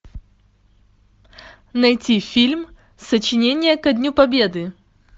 найти фильм сочинение ко дню победы